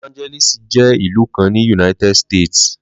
Los Angeles jé ìlú kan ni United States